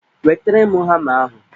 Wetere m hama ahụ!